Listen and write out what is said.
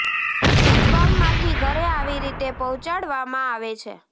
દૂધ ફાર્મ માંથી ઘરે આવી રીતે પોહ્ચાડવા માં આવે છે